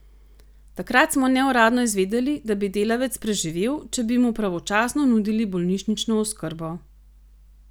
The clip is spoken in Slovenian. Takrat smo neuradno izvedeli, da bi delavec preživel, če bi mu pravočasno nudili bolnišnično oskrbo.